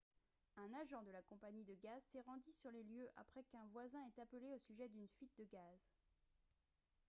un agent de la compagnie de gaz s'est rendu sur les lieux après qu'un voisin ait appelé au sujet d'une fuite de gaz